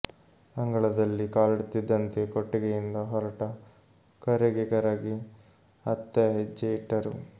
ಅಂಗಳದಲ್ಲಿ ಕಾಲಿಡುತ್ತಿದ್ದಂತೆ ಕೊಟ್ಟಿಗೆಯಿಂದ ಹೊರಟ ಕರೆಗೆ ಕರಗಿ ಅತ್ತ ಹೆಜ್ಜೆ ಇಟ್ಟರು